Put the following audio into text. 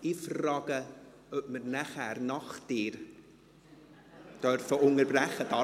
Ich frage, ob wir nachher, nach dir, unterbrechen wollen.